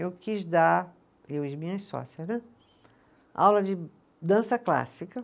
Eu quis dar, eu e as minhas sócias né, aula de dança clássica.